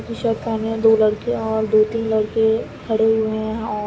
T shirt पहने दो लड़के और दो तीन लड़के खड़े हुए हैं और --